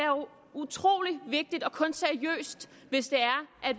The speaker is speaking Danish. utrolig vigtigt og kun seriøst hvis